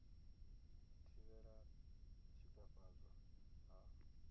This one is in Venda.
u thivhela u tshikafhadzwa ha